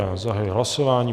Já zahajuji hlasování.